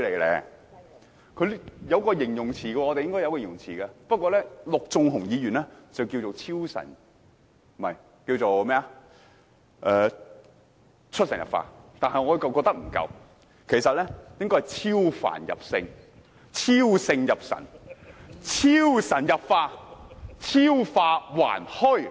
這應該有一個形容詞來形容，陸頌雄議員稱之為"出神入化"，但我認為不足夠，應該是"超凡入聖，超聖入神，超神入化，超化還虛"。